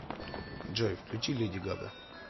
джой включи леди гага